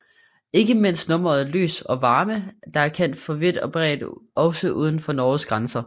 Ikke mindst nummeret Lys og Varme der er kendt vidt og bredt også uden for Norges grænser